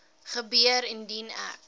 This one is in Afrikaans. gebeur indien ek